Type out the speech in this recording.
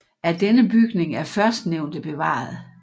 Af denne bygning er førstnævnte bevaret